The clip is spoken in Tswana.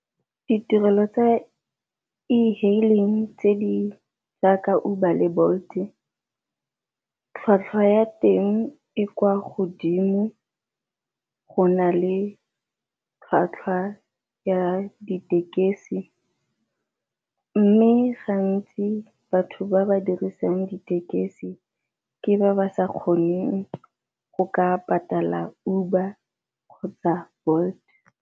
Ditirelo tsa e-hailing tse di jaaka Uber le Bolt-e tlhwatlhwa ya teng e kwa godimo go na le tlhwatlhwa ya ditekesi, mme gantsi batho ba ba dirisang ditekesi ke ba ba sa kgoneng go ka patala Uber kgotsa Bolt.